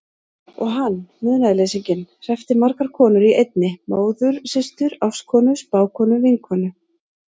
Og hann, munaðarleysinginn, hreppti margar konur í einni: móður systur ástkonu spákonu vinkonu.